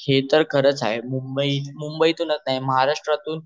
हे तर खरच आहे मुंबई तून नाही तर्र महाराष्ट्र तून